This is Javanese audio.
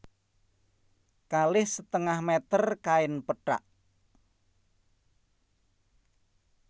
Kalih setengah méter kain pethak